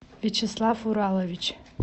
вячеслав уралович